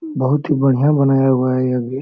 बहुत ही बढ़िया बनाया हुआ हैं यह भी।